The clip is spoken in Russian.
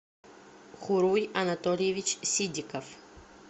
хуруй анатольевич сидиков